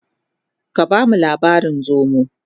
ka bamu labarin zomo!